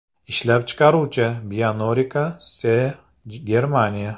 Ishlab chiqaruvchi Bionorica SE, Germaniya.